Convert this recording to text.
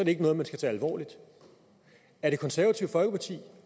ikke noget man skal tage alvorligt er det konservative folkeparti